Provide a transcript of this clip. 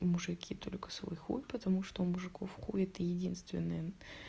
и мужики только свой хуй потому что у мужиков хуй это единственное